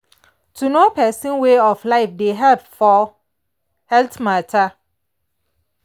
to know person way of life dey help for health matter.